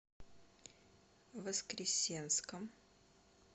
воскресенском